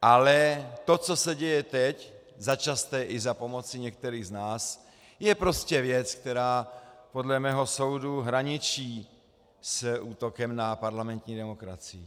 Ale to, co se děje teď, začasté i za pomoci některých z nás, je prostě věc, která podle mého soudu hraničí s útokem na parlamentní demokracii.